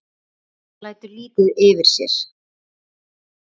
Hún lætur lítið yfir sér.